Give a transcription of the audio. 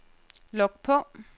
log på